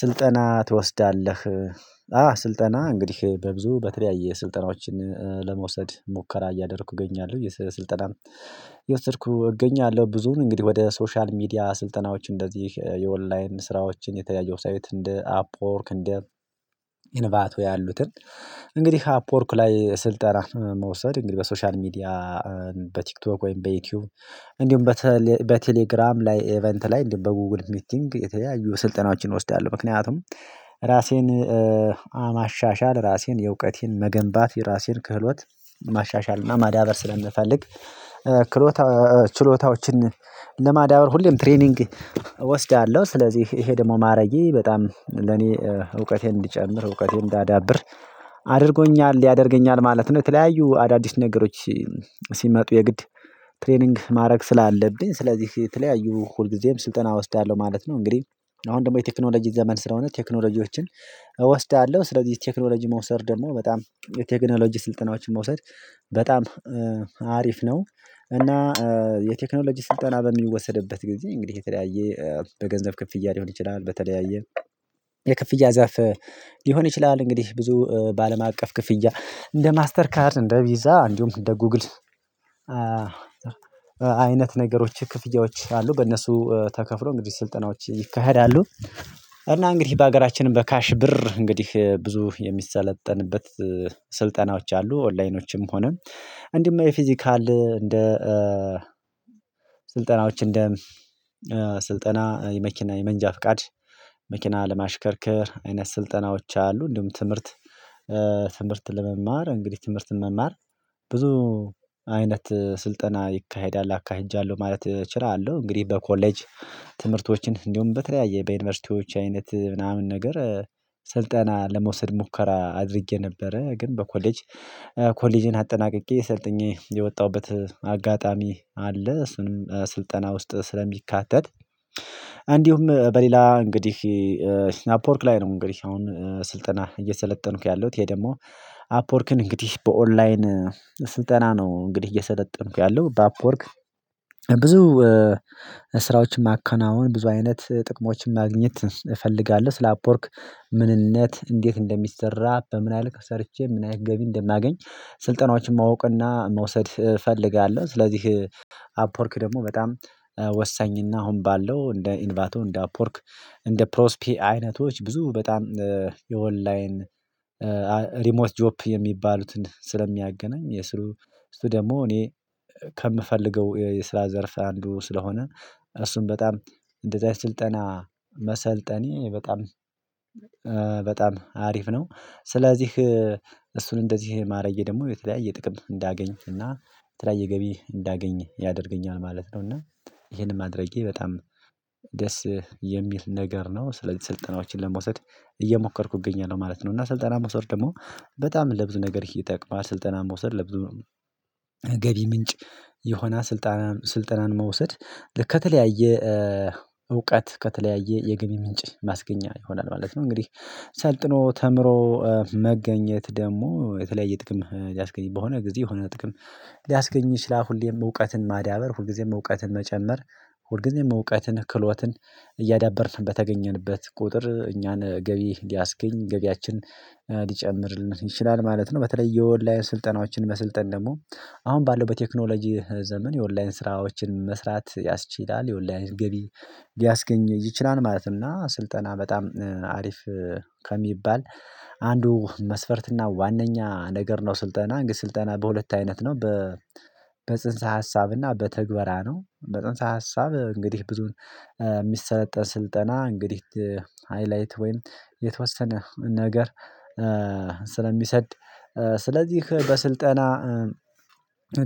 ስልጠና ትወስዳለህ? አዎ ስልጠና እንግዲህ በብዙ በተለያየ ስልጠናዎችን ለመውሰድ ሙከራ እያደረኩ እገኛለሁ የስልጠናን እየወሰድኩ እገኛለሁ። ብዙን እንግዲህ ወደ ሶሻል ሚዲያ ስልጠናዎች እንደዚህ የኦንላይን ስራዎችን የተለያየ ዌብሳይት እንደ አፕወርክ እንደ ኢንቫቶ ያሉትን እንግዲህ አፕወርክ ላይ ስልጠና መውሰድ እንግዲህ በሶሻል ሚዲያ በቲክቶክ ወይም በዩቲዩብ እንዲሁም በቴሌግራም ላይ ኢቨንት ላይ እንዲሁም በጉጉል ሚቲንግ የተለያዩ ስልጠናችንን እወስዳለሁ። ምክንያቱም ራሴን ማሻሻል ራሴን የእውቀቴን መገንባት ራሴን ክህሎት ማሻሻል እና ማዳበር ስለምፈልግ። ችሎታዎችን ለማዳበር ሁሌም ትሬኒንግ እወስዳለሁ። ስለዚህ ይሄን ደግሞ ማድረጌ በጣም ለኔ እውቀቴን እንድጨምር እውቀቴን እንዳዳብር አድርጎኛል ያደርገኛል ማለት ነው። የተለያዩ አዳዲስ ነገሮች ሲመጡ የግድ ትሬኒንግ ማድረግ ስላለብኝ ስለዚህ የተለያዩ ሁልጊዜም ስልጠና ወስዳለሁ ማለት ነው። እንግዲህ አሁን ደግሞ የቴክኖሎጂ ዘመን ስለሆነ ቴክኖሎጂዎችን እወስዳለሁ ስለዚህ ቴክኖሎጂ መውሰድ ደግሞ በጣም የቴክኖሎጂ ስልጠናዎችን መውሰድ በጣም አሪፍ ነው። እና የቴክኖሎጂ ስልጠና በሚወሰድበት ጊዜ እንግዲህ የተለያየ በገንዘብ ክፍያ ሊሆን ይችላል። በተለያየ የክፍያ ዘርፍ ሊሆን ይችላል። እንግዲህ ብዙ ባለማቀፍ ክፍያ እንደ ማስተር ካርድ እንደ ቪዛ እንዲሁም እንደ ጉግል አይነት ነገሮች ክፍያዎች አሉ በእነሱ ተከፍሎ እንግዲህ ስልጠናዎች ይካሄዳሉ። እና እንግዲህ በሀገራችንም በካሽ ብር እንግዲህ ብዙ የሚሰለጠንበት ስልጠናዎች አሉ። ኦንላይኖችም ሆነም እንዲህ የፊዚካል እንደ ስልጠናዎች እንደ ስልጠና የመኪና የመንጃ ፍቃድ መኪና ለማሽከርከር አይነት ስልጠናዎች አሉ። እንዲሁም ትምህርት ለመማር እንግዲህ ትምህርትን መማር ብዙ አይነት ስልጠና ይካሄዳል አካሂጃለሁ ማለት እችላለሁ። እንግዲህ በኮሌጅ ትምህርቶችን እንዲሁም በተለያየ በዩኒቨርሲቲዎች አይነት ምናምን ነገር ስልጠና ለመውሰድ ሙከራ አድርጌ ነበረ። ግን በኮሌጅ ኮሌጅን አጠናቅቄ ሰልጥኜ የወጣሁበት አጋጣሚ አለ። እሱንም ስልጠና ውስጥ ስለሚካተት። እንዲሁም በሌላ እንግዲህ አፕወርክ ላይ ነው። እንግዲህ አሁን ስልጠና እየሰለጠንኩ ያለሁት ይሄ ደግሞ አፕወርክን እንግዲህ በኦንላይን ስልጠና ነው። እንግዲህ እየሰለጠንኩ ያለው በአፕወርክ ብዙ ስራዎችን ማከናወን ብዙ አይነት ጥቅሞችን ማግኘት እፈልጋለሁ። ስለ አፕወርክ ምንነት እንዴት እንደሚሰራ በምን ያህል ልክ ሰርቼ ምን ያህል ገቢ እንደማገኝ ስልጠናዎችን ማወቅና መውሰድ እፈልጋለሁ። ስለዚህ አፕወርክ ደግሞ በጣም ወሳኝና አሁን ባለው እንደ ኢንቫቶ እንደ አፕወርክ እንደ ፕሮስፒ አይነቶች ብዙ በጣም የኦንላይን ሪሞት ጆብ የሚባሉትን ስለሚያገናኝ የስሩ ደግሞ እኔ ከምፈልገው የስራ ዘርፍ አንዱ ስለሆነ እሱን በጣም እንደዚህ አይነት ስልጠና መሰልጠኔ በጣም በጣም አሪፍ ነው። ስለዚህ እሱን እንደዚህ ማረዬ ደግሞ የተለያየ ጥቅም እንዳገኝኩኝ እና የተለያየ ገቢ እንዳገኝ ያደርገኛል ማለት ነው። እና ይሄንን ማድረጌ በጣም ደስ የሚል ነገር ነው። ስለዚህ ስልጠናዎችን ለመውሰድ እየሞከርኩ እገኛለሁ ማለት ነው። እና ስልጠና መውሰድ ደግሞ በጣም ለብዙ ነገር ይጠቅማል። ስልጠናን መውሰድ ለብዙ የገቢ ምንጭ የሆነ ስልጠናን ስልጠናን መውሰድ ከተለያየ እውቀት ከተለያየ የገቢ ምንጭ ማስገኛ ይሆናል ማለት ነው። እንግዲህ ሰልጥኖ ተምሮ መገኘት ደግሞ የተለያየ ጥቅም ሊያስገኝ በሆነ ጊዜ የሆነ ጥቅም ሊያስገኝ ይችላል። ሁሌም እውቀትን ማዳበር ሁልጊዜም እውቀትን መጨመር ሁልጊዜም እውቀትን ክሎትን እያዳበርን በተገኘንበት ቁጥር እኛን ገቢ ሊያስገኝ ገቢያችን ሊጨምርልን ይችላል ማለት ነው። በተለይ የኦንላይን ስልጠናዎችን መስልጠን ደግሞ አሁን ባለው በቴክኖሎጂ ዘመን የኦንላይን ስራዎችን መስራት ያስችላል። የኦንላይን ገቢ ሊያስገኝ ይችላል። ማለት እና ስልጠና በጣም አሪፍ ከሚባል አንዱ መስፈርትና ዋናኛ ነገር ነው። ስልጠና እንግዲህ ስልጠና በሁለት አይነት ነው። በጽንሰ ሀሳብና በትግበራ ነው። በጽንሰ ሀሳብ እንግዲህ ብዙ የሚሰለጠን ስልጠና እንግዲህ ሃይላይት ወይም የተወሰነ ነገር ስለሚሰድ። ስለዚህ በስልጠና